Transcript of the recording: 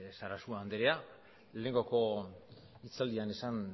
sarasua andrea lehengoko hitzaldian esan